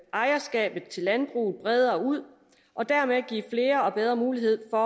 ejerskabet til landbruget bredere ud og dermed give flere og bedre muligheder